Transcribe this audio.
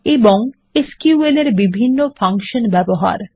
এবং এসকিউএল এর বিভন্ন ফাংশান ব্যবহার